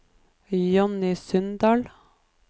Johnny Sundal